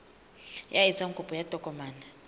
ya etsang kopo ya tokomane